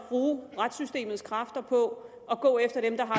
bruge retssystemets kræfter på at gå efter dem der har